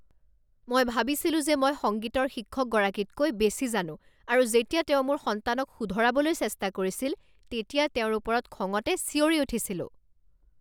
মই ভাবিছিলোঁ যে মই সংগীতৰ শিক্ষকগৰাকীতকৈ বেছি জানো আৰু যেতিয়া তেওঁ মোৰ সন্তানক শুধৰাবলৈ চেষ্টা কৰিছিল তেতিয়া তেওঁৰ ওপৰত খঙতে চিঞৰি উঠিছিলোঁ।